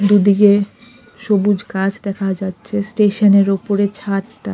দুদিকে সবুজ গাছ দেখা যাচ্ছে স্টেশন -এর উপরে ছাদটা--